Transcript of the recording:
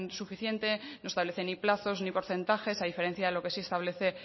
suficiente no establecen ni plazos ni porcentajes a diferencia de lo que sí establece